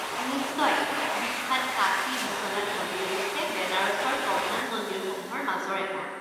নিশ্চয়। বিখ্যাত কাশী বিশ্বনাথ মন্দিৰ হৈছে বেনাৰসৰ প্ৰধান মন্দিৰসমূহৰ মাজৰ এটা।